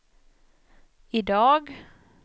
idag